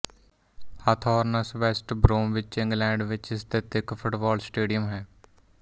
Hawthorns West Bromwich England ਵਿੱਚ ਸਥਿਤ ਇੱਕ ਫੁੱਟਬਾਲ ਸਟੇਡੀਅਮ ਹੈ